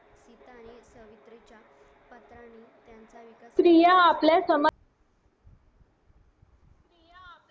स्त्रिया आपल्या समाज